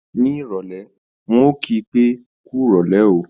Ní ìrọ̀lé, ń ò kí pé, "kú rọ̀lé o"